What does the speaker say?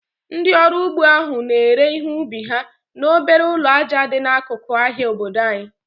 Ndị ọrụ ugbo ahụ na-ere ihe ubi ha n'obere ụlọ aja dị n'akụkụ ahịa obodo anyị